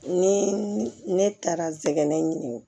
Ni ne taara sɛgɛn ɲini